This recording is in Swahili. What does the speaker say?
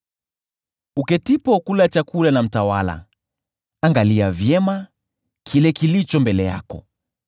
Uketipo kula chakula na mtawala, angalia vyema kile kilicho mbele yako,